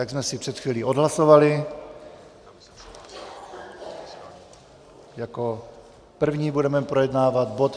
Jak jsme si před chvílí odhlasovali, jako první budeme projednávat bod